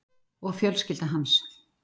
Og fjölskylda hans.